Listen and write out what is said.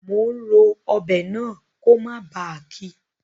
Mo n ro ọbẹ̀ náà ko mó ba kí